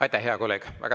Aitäh, hea kolleeg!